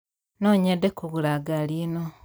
No nyende kũgũra ngari ĩno.